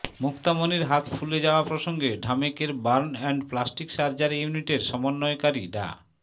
মুক্তামনির হাত ফুলে যাওয়া প্রসঙ্গে ঢামেকের বার্ন অ্যান্ড প্লাস্টিক সার্জারি ইউনিটের সমন্বয়কারী ডা